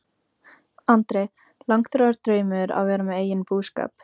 Andri: Langþráður draumur að vera með eigin búskap?